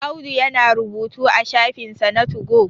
Audu yana rubutu a shafinsa na tugo